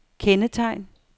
kendetegn